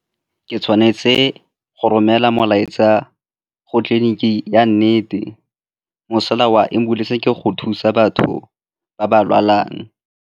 Ke tshwanetse go romela molaetsa go tleliniki ya nnete, mosola wa ambulance-e ke go thusa batho ba ba lwalang.